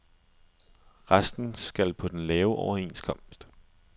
Resten skal på den lave overenskomst.